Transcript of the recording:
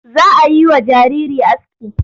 Za a yi wa jariri aski.